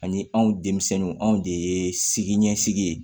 Ani anw denmisɛnninw anw de ye siginisigi ye